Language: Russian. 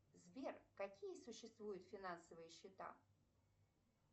сбер какие существуют финансовые счета